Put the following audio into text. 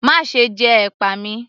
Máṣe jẹ ẹ̀pà mi!